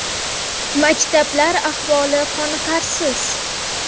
Maktablar ahvoli qoniqarsiz.